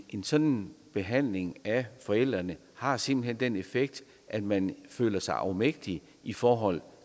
en sådan behandling af forældrene har simpelt hen den effekt at man føler sig afmægtig i forhold